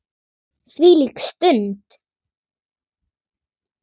Þvílík stund!